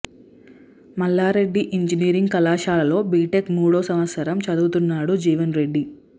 Mallareddy engineering కళాశాలలో B Tech మూడో సంవత్సరం చదువుతున్నాడు జీవన్ రెడ్డి